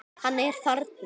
Hann er þarna!